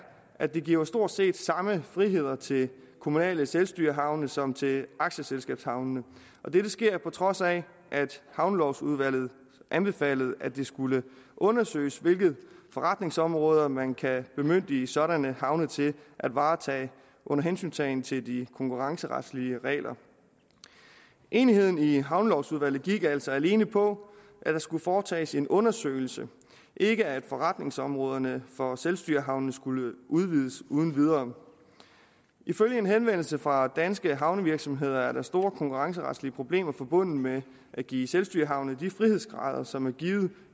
at det giver stort set samme friheder til de kommunale selvstyrehavne som til aktieselskabshavnene og dette sker på trods af at havnelovudvalget anbefalede at det skulle undersøges hvilke forretningsområder man kan bemyndige sådanne havne til at varetage under hensyntagen til de konkurrenceretlige regler enigheden i havnelovudvalget gik altså alene på at der skulle foretages en undersøgelse ikke at forretningsområderne for selvstyrehavnene skulle udvides uden videre ifølge en henvendelse fra danske havnevirksomheder er der store konkurrenceretlige problemer forbundet med at give selvstyrehavne de frihedsgrader som er givet